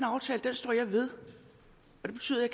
står jeg ved og det betyder at